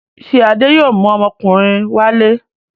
Ṣé Adé yóò mú ọmọkùnrin wálé?